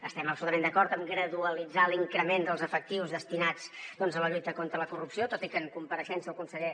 estem absolutament d’acord en graduar l’increment dels efectius destinats a la lluita contra la corrupció tot i que en compareixença el conseller